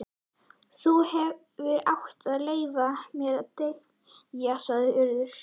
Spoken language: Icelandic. Þú hefðir átt að leyfa mér að deyja sagði Urður.